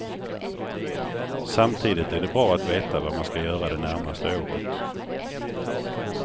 Samtidigt är det bra att veta vad man ska göra det närmaste året.